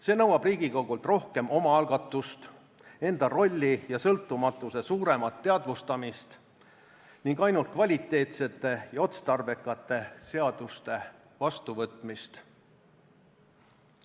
See nõuab Riigikogult rohkem omaalgatust, enda rolli ja sõltumatuse suuremat teadvustamist ning ainult kvaliteetsete ja otstarbekate seaduste vastuvõtmist.